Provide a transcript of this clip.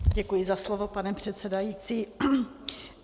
Děkuji za slovo, pane předsedající.